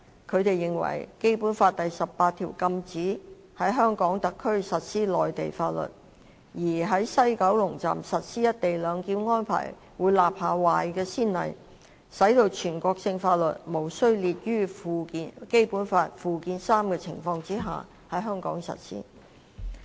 他們認為，《基本法》第十八條禁止在香港特區實施內地法律，而在西九龍站實施"一地兩檢"安排會立下壞先例，使全國性法律在無須列於《基本法》附件三的情況下在香港實施。